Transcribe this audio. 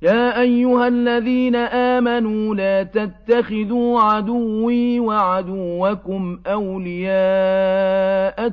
يَا أَيُّهَا الَّذِينَ آمَنُوا لَا تَتَّخِذُوا عَدُوِّي وَعَدُوَّكُمْ أَوْلِيَاءَ